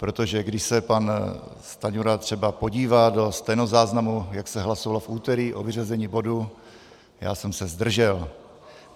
Protože když se pan Stanjura třeba podívá do stenozáznamu, jak se hlasovalo v úterý o vyřazení bodu, já jsem se zdržel.